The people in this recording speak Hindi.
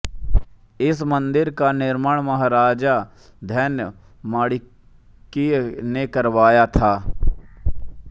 इस मंदिर का निर्माण महाराजा धन्य माणिक्य ने करवाया था